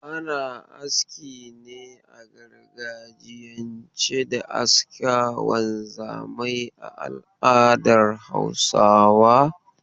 Ana aski ne a gargajiyance da askar wanzamai a al'adar Hausawa.